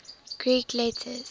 greek letters